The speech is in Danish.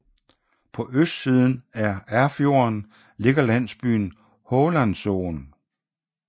På østsiden af Erfjorden ligger landsbyen Hålandsosen